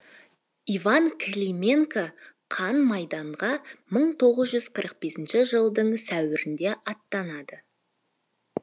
иван клименко қан майданға мың тоғыз жүз қырық бесінші жылдың сәуірінде аттанады